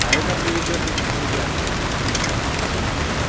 а это приведёт их в себя